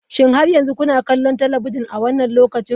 Shin har yanzu kuna kallon talabijin a wannan lokacin?